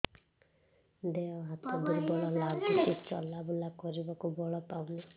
ଦେହ ହାତ ଦୁର୍ବଳ ଲାଗୁଛି ଚଲାବୁଲା କରିବାକୁ ବଳ ପାଉନି